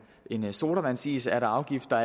en sodavandsis er der afgifter